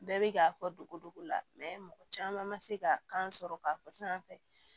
Bɛɛ bi k'a fɔ dogo dogo la mɔgɔ caman ma se ka kan sɔrɔ k'a fɔ san fɛ